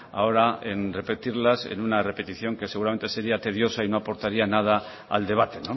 ahora en repetirlas una repetición que seguramente sería tediosa y no aportaría nada al debate